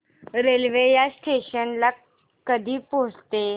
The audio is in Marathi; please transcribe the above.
रेल्वे या स्टेशन ला कधी पोहचते